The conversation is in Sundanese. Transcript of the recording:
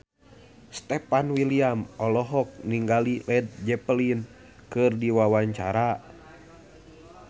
Stefan William olohok ningali Led Zeppelin keur diwawancara